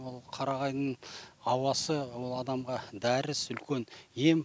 ол қарағайдың ауасы ол адамға дәрісі үлкен ем